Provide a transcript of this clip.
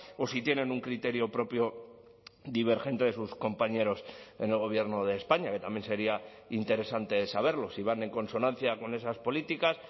o si tienen un criterio propio divergente de sus compañeros en el gobierno de españa que también sería interesante saberlo si van en consonancia con esas políticas